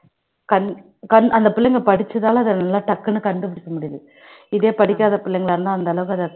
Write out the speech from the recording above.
அந்த புள்ளைங்க படிச்சதால அதை நல்ல டக்குன்னு கண்டுபிடிச்சிடுது இதே படிக்காத பிள்ளைங்களா இருந்தா அந்த அளவுக்கு அதை